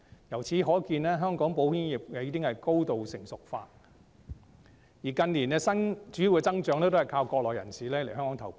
由此可見，香港保險業已經高度成熟化，而近年的主要增長是依靠國內人士來港投保。